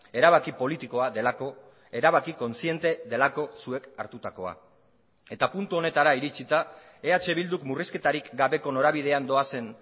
erabaki politikoa delako erabaki kontziente delako zuek hartutakoa eta puntu honetara iritsita eh bilduk murrizketarik gabeko norabidean doazen